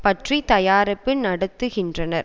பற்றி தயாரிப்பு நடத்துகின்றனர்